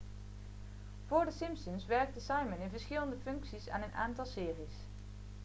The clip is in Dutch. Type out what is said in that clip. vóór the simpsons werkte simon in verschillende functies aan een aantal series